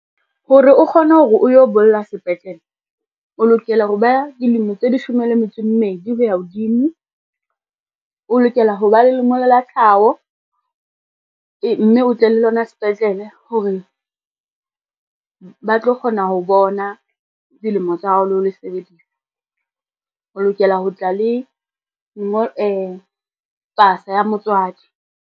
Hore o kgone hore o yo bolla sepetlele, o lokela hore ba dilemo tse leshome le metso e mmedi ho ya hodimo, o lokela ho ba le lengolo la tlhaho, mme o tle le lona sepetlele ho re ba tlo kgona ho bona dilemo tsa hao le ho le sebedisa o lokela ho tla le pasa ya motswadi.